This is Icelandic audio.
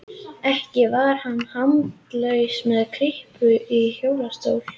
Ekki var hann handalaus með kryppu í hjólastól.